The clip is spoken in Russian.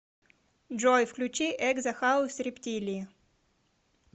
джой включи экзо хаус рептилии